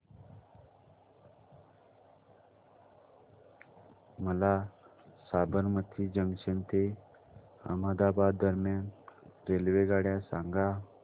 मला साबरमती जंक्शन ते अहमदाबाद दरम्यान रेल्वेगाड्या सांगा